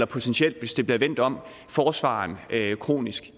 potentielt hvis det bliver vendt om forsvareren kronisk